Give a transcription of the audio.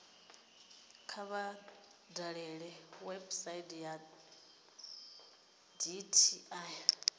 kha vha dalele website ya dti